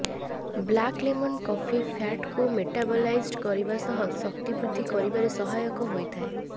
black lemon coffee ଫ୍ୟାଟକୁ metabolised କରିବା ସହ ଶକ୍ତି ବୃଦ୍ଧି କରିବାରେ ସହାୟକ ହୋଇଥାଏ